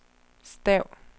stav